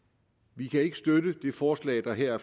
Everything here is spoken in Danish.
vi kan ikke støtte det forslag der her er